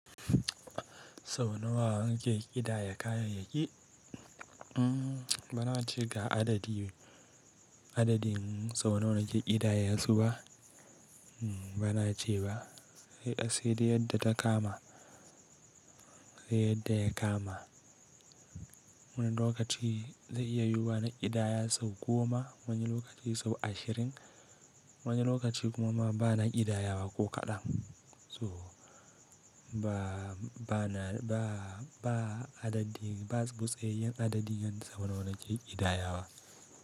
Sau nawa nake ƙidaya kayayyaki? Bana ce ga adadi, adadin sau nawa nake ƙidayesu ba, bana ce ba. Sai dai yanda ta kama, sai yanda ya kama. Wani lokaci zai iya yiwuwa na ƙidaya sau goma, wani lokaci sau ashirin, wani lokaci kuma ma bana ƙidayawa ko kaɗan. To ba, bana, ba, ba adadi, babu tsattsaiyan adadi yanda sau nawa nake ƙidayawa.